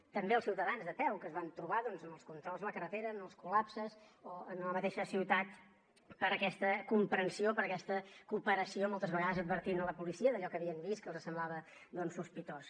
i també als ciutadans de peu que es van trobar doncs amb els controls a la carretera amb els col·lapses o en la mateixa ciutat per aquesta comprensió per aquesta cooperació moltes vegades advertint la policia d’allò que havien vist que els semblava sospitós